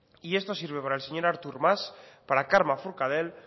y esto sirve para el señor artur mas para carme forcadell